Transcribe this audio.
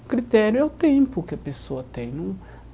O critério é o tempo que a pessoa tem.